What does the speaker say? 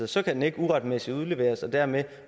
så kan den ikke uretmæssigt udleveres og dermed